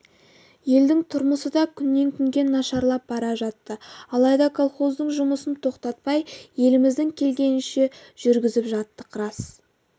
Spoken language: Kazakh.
елдің тұрмысы да күннен-күнге нашарлап бара жатты алайда колхоздың жұмысын тоқтатпай әліміздің келгенінше жүргізіп жаттық рас